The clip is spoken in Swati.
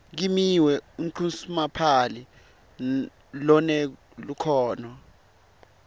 kimiwe unqusomapali lonelukhono